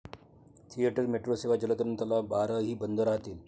Theatre, metro सेवा, जलतरण तलाव, बारही बंद राहतील.